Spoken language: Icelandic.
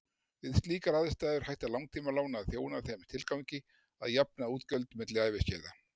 Við slíkar aðstæður hætta langtímalán að þjóna þeim tilgangi að jafna útgjöld milli æviskeiða.